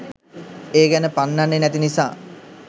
ඒ ගැන පන්නන්නෙ නැති නිසා